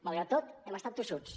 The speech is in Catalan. malgrat tot hem estat tossuts